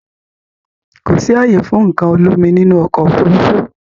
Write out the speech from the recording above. Kò sì ààyè fún nǹkan olómi nínú ọkọ̀ Òfurufú